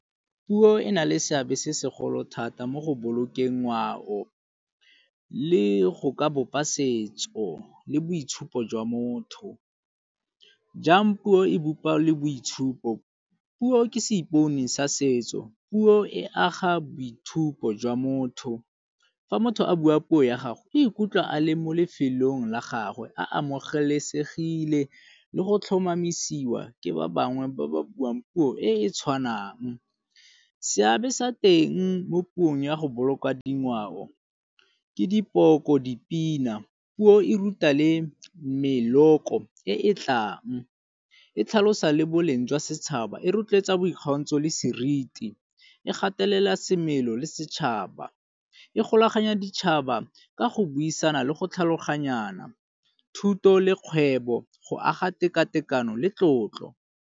Puo e na le seabe se segolo thata mo go bolokeng ngwao le go ka bopa setso le boitshupo jwa motho. Jang puo e bopa le boitshupo. Puo ke seipone sa setso, puo e aga boitshupo jwa motho. Fa motho a bua puo ya gago e ikutlwa a le mo lefelong la gagwe a amogelesegile le go tlhomamisiwa ke ba bangwe ba ba buang puo e e tshwanang. Seabe sa teng mo puong ya go boloka dingwao ke dipoko, dipina. Puo e ruta le meloko e e tlang, e tlhalosa le boleng jwa setšhaba, e rotloetsa boikgantsho le seriti, e gatelela semelo le setšhaba, e golaganya ditšhaba ka go buisana le go tlhaloganyana thuto le kgwebo go aga tekatekano le tlotlo.